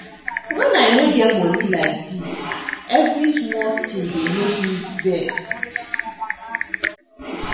Wen I no get money like dis, every small thing dey make me vex me